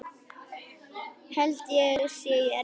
Held það sé í Evrópu.